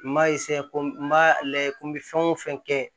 N ma ko n ma ko n bɛ fɛn o fɛn kɛ